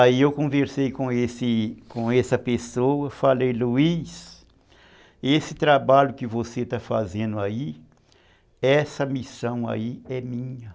Aí eu conversei com esse... com essa pessoa, falei, Luiz, esse trabalho que você está fazendo aí, essa missão aí é minha.